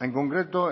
en concreto